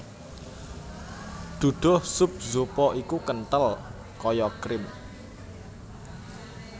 Duduh sup zupa iku kenthel kaya krim